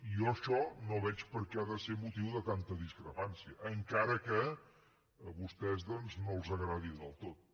i jo això no veig per què ha de ser motiu de tanta discrepància encara que a vostès doncs no els agradi del tot